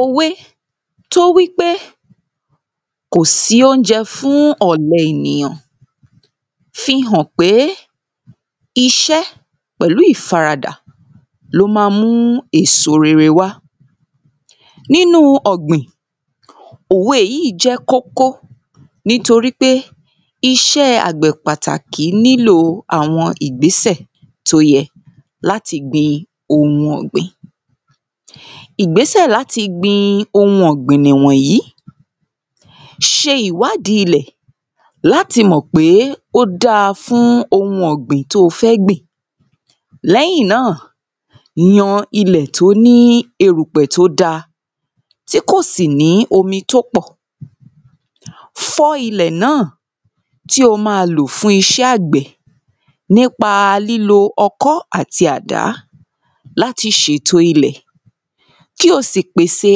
Òwe tó wípé kò sí óúnjẹ fún ọ̀lẹ ènìyàn fi hàn pé iṣẹ́ pẹ̀lú ìfaradà ló má ń mú èso rere wá nínú ọ̀gbìn. òwe yìí jẹ́ kókó nítorípé iṣẹ́ àgbẹ̀ pàtàkì nílò àwọn ìgbésẹ̀ tó yẹ láti gbin ohun ọ̀gbìn. Ìgbésẹ̀ láti gbin ohun ọ̀gbìn nìyí ṣe ìwádìí ilẹ̀ láti mọ̀ pé ó dá fún ohun ọ̀gbìn tó fẹ́ gbìn. Lẹ́yìn náà yan ilẹ̀ tó ní ilẹ̀ tó da tí kò sí nĩ́ omi tó kpọ̀. Sán ilẹ̀ náà tí o má lò fún iṣẹ́ àgbẹ̀ náà nípa lílo ọkọ́ àti àdá láti ṣèto ilẹ̀. Kí o sì pèse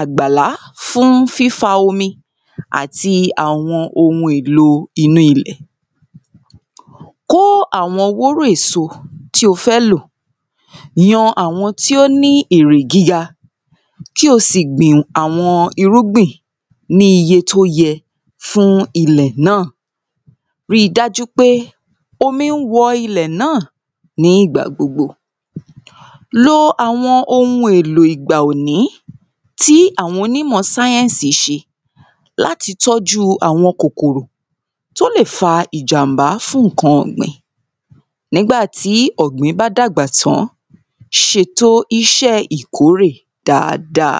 àgbàlá fún fífa omi àti àwọn èlo inú ilẹ̀. Kó àwọ wóró èso tí o fẹ́ lò yan àwọn tí ó ní èrè gíga kí o sì gbin àwọn irúgbin ní iye tó yẹ fún ilẹ̀ náà. Rí dájú wípé omi ń wọ ilẹ̀ náà ní ìgbà gbogbo. Lo àwọn ohun èlo ìgbà òní tí àwọn onímọ̀ sáyẹ́nsì ṣe láti tọ́jú àwọn kòkòrò tó lè fa ìjàm̀bá fún nǹkan ọ̀gbìn. Nígbà tí ọ̀gbìn bá dàgbà tán ṣèto iṣẹ́ ìkórè dáada.